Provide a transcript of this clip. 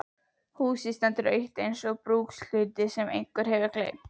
Húsið stendur autt eins og brúkshlutur sem einhver hefur gleymt.